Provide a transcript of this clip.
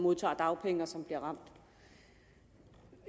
modtager dagpenge og som bliver ramt